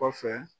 Kɔfɛ